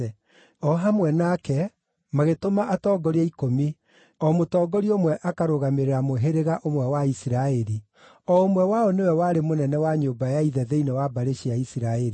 O hamwe nake, magĩtũma atongoria ikũmi o mũtongoria ũmwe akarũgamĩrĩra mũhĩrĩga o mũndũ ũmwe wa Isiraeli, o ũmwe wao nĩwe warĩ mũnene wa nyũmba ya ithe thĩinĩ wa mbarĩ cia andũ a Isiraeli.